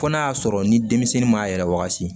Fɔ n'a y'a sɔrɔ ni denmisɛnnin m'a yɛrɛ wagati